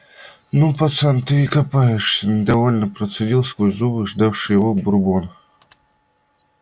ну пацан ты и копаешься недовольно процедил сквозь зубы ждавший его бурбон